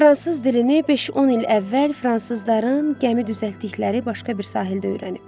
Fransız dilini 5-10 il əvvəl fransızların gəmi düzəltdikləri başqa bir sahildə öyrənib.